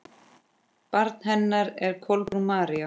Barn hennar er Kolbrún María.